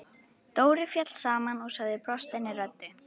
Dóri féll saman og sagði brostinni röddu: